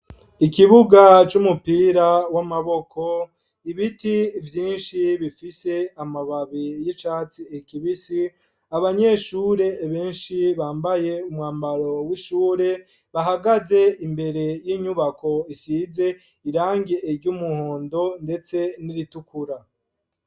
Ikibuga c'umupira w'amaboko ,ibiti vyinshi bifise amababi y'icatsi kibisi, abanyeshure benshi bambaye umwambaro w'ishure bahagaze imbere y'inyubako isize irangi iry'umuhondo ndetse n'iritukura.